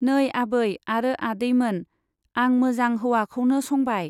नै आबै आरो आदैमोन, आं मोजां हौवाखौनो संबाय।